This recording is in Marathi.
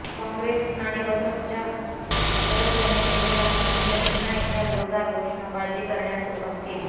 काँग्रेस आणि बसपच्या सदस्यांनी त्यांच्या भाषणानंतर पुन्हा एकदा जोरदार घोषणाबाजी करण्यास सुरुवात केली